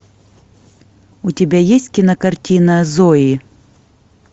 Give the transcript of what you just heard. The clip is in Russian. у тебя есть кинокартина зои